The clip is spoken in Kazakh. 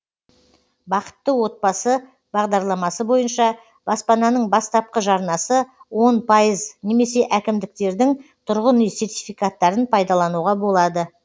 бақытты отбасы бағдарламасы бойынша баспананың бастапқы жарнасы он пайыз немесе әкімдіктердің тұрғын үй сертификаттарын пайдалануға болады